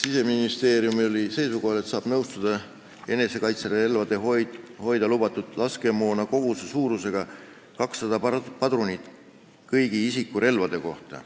Siseministeerium oli seisukohal, et saab nõustuda enesekaitserelvade jaoks hoida lubatud laskemoonakoguse suurusega 200 padrunit isiku kõigi relvade kohta.